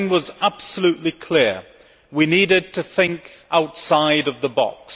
One thing was absolutely clear. We needed to think outside the box.